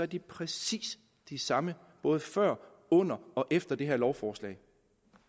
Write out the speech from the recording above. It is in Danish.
de præcis de samme både før under og efter det her lovforslag